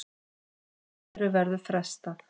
En öðru verður frestað.